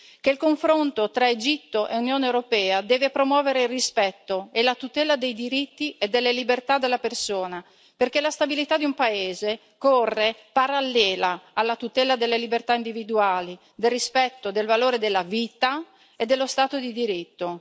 che il confronto tra Egitto e Unione europea deve promuovere il rispetto e la tutela dei diritti e delle libertà della persona, perché la stabilità di un paese corre parallela alla tutela delle libertà individuali, del rispetto del valore della vita e dello Stato di diritto